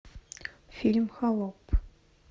фильм холоп